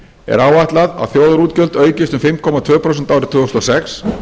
er áætlað að þjóðarútgjöld aukist um fimm komma tvö prósent árið tvö þúsund og sex